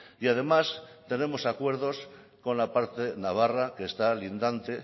y además tenemos acuerdos con la parte navarra que está lindante